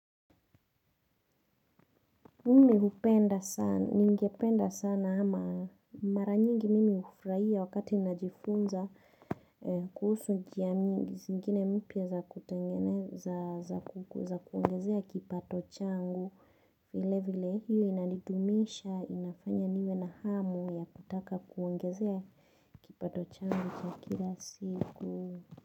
Mimi hupenda sana, ningependa sana ama mara nyingi mimi hufuraia wakati najifunza kuhusu njia mingi, zingine mpya za kutengene za kuongezea kipato changu vile vile, hiyo inadidumisha, inafanya niwe na hamu ya kutaka kuongezea kipato changu cha kila siku.